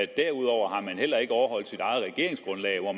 derudover har man heller ikke overholdt sit eget regeringsgrundlag hvor